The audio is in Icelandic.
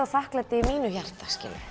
þakklæti í mínu hjarta